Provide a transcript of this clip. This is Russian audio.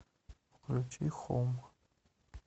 включи хоум